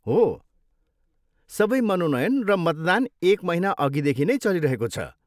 हो, सबै मनोनयन र मतदान एक महिना अघिदेखि नै चलिरहेको छ।